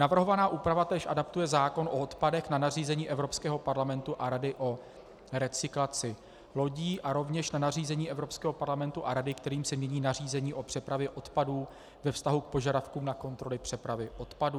Navrhovaná úprava též adaptuje zákon o odpadech na nařízení Evropského parlamentu a Rady o recyklaci lodí a rovněž na nařízení Evropského parlamentu a Rady, kterým se mění nařízení o přepravě odpadů ve vztahu k požadavkům na kontroly přepravy odpadů.